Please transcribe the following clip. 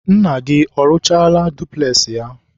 nna gị ọrụchaala dupules ya?